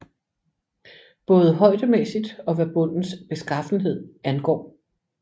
Både højdemæssigt og hvad bundens beskaffenhed angår